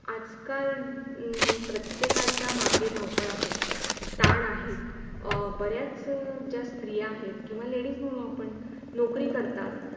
आज काल प्रत्येकाच्या मागे धाव - पळ आहे. तान आहेच अं बऱ्याच ज्या स्त्रिया आहेत किंवा Ladies म्हणू आपण नौकरी करतात.